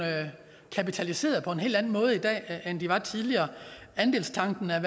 kapitaliseret på en hel anden måde i dag end de var tidligere andelstanken har